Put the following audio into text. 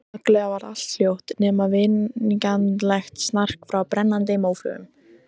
Snögglega varð allt hljótt, nema vingjarnlegt snark frá brennandi móflögum.